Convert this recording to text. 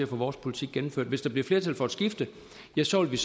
vores politik gennemført hvis der bliver flertal for et skifte ja så vil